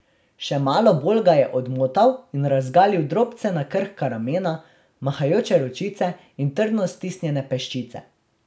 Še malo bolj ga je odmotal in razgalil drobcena, krhka ramena, mahajoče ročice in trdno stisnjene peščice.